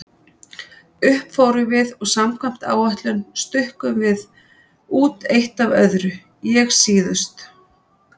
Upp fórum við og samkvæmt áætlun stukkum við út eitt af öðru, ég síðust.